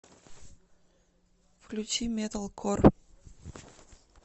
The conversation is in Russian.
включи металкор